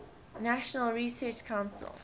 national research council